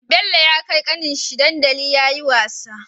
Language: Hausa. Bello ya kai kanin shi dandaliyayi wasa